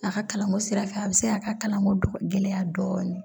A ka kalanko sira fɛ a bɛ se a ka kalanko gɛlɛya dɔɔnin